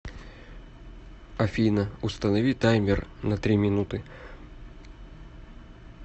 афина установи таймер на три минуты